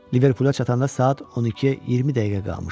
Liverpula çatanda saat 12-yə 20 dəqiqə qalmışdı.